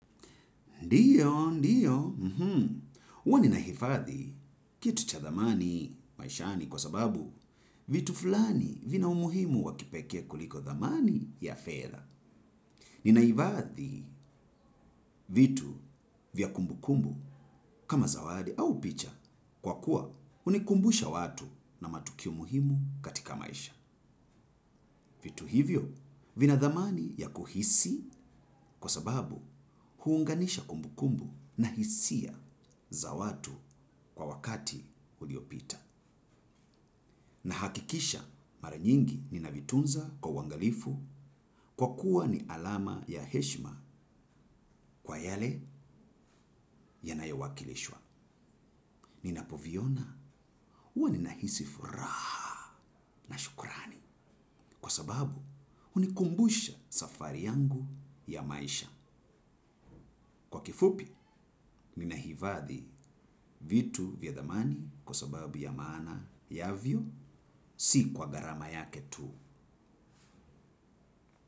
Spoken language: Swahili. Ndiyo, ndiyo, huwa ninahifadhi kitu cha dhamani maishani kwa sababu vitu fulani vina umuhimu wa kipekee kuliko dhamani ya fedha. Ninaifadhi vitu vya kumbukumbu kama zawadi au picha kwa kuwa hunikumbusha watu na matukio muhimu katika maisha. Vitu hivyo vina dhamani ya kuhisi kwa sababu huunganisha kumbukumbu na hisia za watu kwa wakati uliopita. Nahakikisha mara nyingi ninavitunza kwa uangalifu kwa kuwa ni alama ya heshima kwa yale yanayowakilishwa. Ninapoviona huwa ninahisi furaha na shukurani kwa sababu hunikumbusha safari yangu ya maisha. Kwa kifupi, niina hifadhi vitu vya dhamani kwa sababu ya maana yavyo, si kwa gharama yake tu.